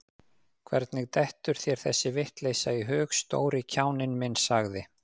Hvernig dettur þér þessi vitleysa í hug, stóri kjáninn minn sagði